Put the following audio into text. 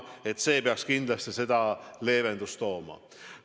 See muudatus peaks kindlasti siin leevendust tooma.